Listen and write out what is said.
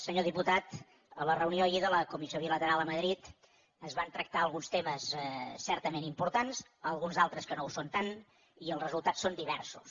senyor diputat a la reunió ahir de la comissió bilateral a madrid es van tractar alguns temes certament importants alguns d’altres que no ho són tant i els resultats són diversos